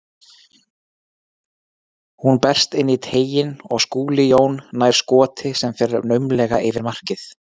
Hún berst inn í teiginn og Skúli Jón nær skoti sem fer naumlega yfir markið.